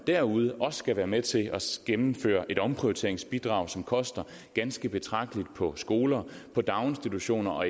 derude også skal være med til at gennemføre et omprioriteringsbidrag som koster ganske betragteligt på skoler på daginstitutioner og